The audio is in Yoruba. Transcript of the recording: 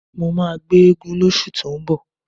Mó máa gbé eégún lóṣù tó ń bọ̀.